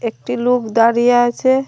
একটি লুক দাঁড়িয়ে আছে।